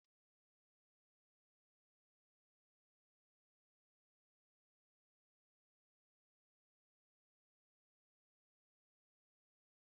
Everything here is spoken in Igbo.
Akụkọ ifo bụ akụkọ anwansi na-eme ka anyị na-arọ nrọ banyere ala ndị dị anya, ndị dike nwere obi ike na ihe egwu na-atọ ụtọ.